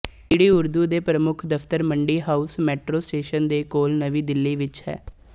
DD Urdu ਦੇ ਪ੍ਰਮੁੱਖ ਦਫ਼ਤਰ ਮੰਡੀ ਹਾਉਸ ਮੇਟਰੋ ਸਟੇਸ਼ਨ ਦੇ ਕੋਲ ਨਵੀਂ ਦਿੱਲੀ ਵਿੱਚ ਹੈ